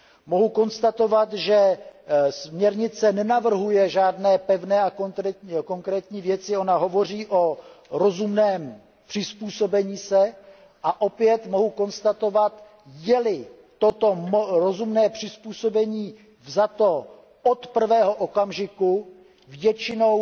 Mohu konstatovat, že směrnice nenavrhuje žádné pevné a konkrétní věci, ona hovoří o rozumném přizpůsobení se a opět mohu konstatovat, je li toto rozumné přizpůsobení vzato od prvého okamžiku, většinou